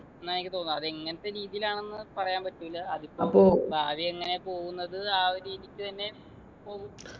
എന്നാ എനിക്ക് തോന്നുന്ന് അതെങ്ങനത്തെ രീതിയിലാണ്ന്ന് പറയാൻ പറ്റൂല അതിപ്പോ ഭാവി എങ്ങനെയാ പോകുന്നത് ആ ഒരു രീതിക്ക് തന്നെ പോകും